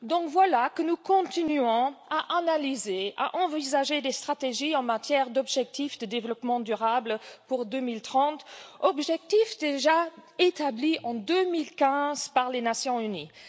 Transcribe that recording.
Voilà que nous continuons à analyser, à envisager des stratégies en matière d'objectifs de développement durable pour 2030, objectifs déjà établis en 2015 par les Nations unies.